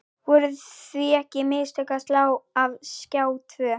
Voru því ekki mistök að slá af Skjá tvo?